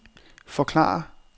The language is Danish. forklare